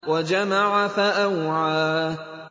وَجَمَعَ فَأَوْعَىٰ